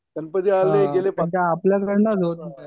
त्यांचं ज्या वेळेला